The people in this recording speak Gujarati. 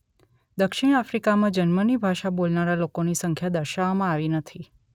દક્ષિણ આફ્રિકામાં જન્મની ભાષા બોલનારા લોકોની સંખ્યા દર્શાવવામાં આવી નથી